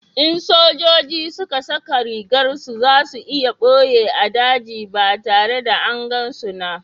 in sojoji suka saka rigar su, za su iya boye a daji ba tare da angan su na